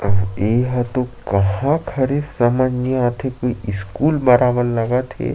एहा तो कहाँ क हरे समझ नई आते कोई स्कूल बाड़ा मन लगत हे।